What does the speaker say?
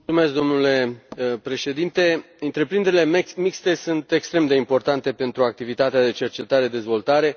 Domnule Președinte, întreprinderile mixte sunt extrem de importante pentru activitatea de cercetare dezvoltare.